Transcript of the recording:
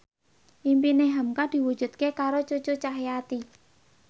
impine hamka diwujudke karo Cucu Cahyati